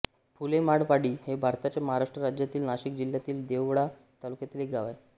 फुलेमाळवाडी हे भारताच्या महाराष्ट्र राज्यातील नाशिक जिल्ह्यातील देवळा तालुक्यातील एक गाव आहे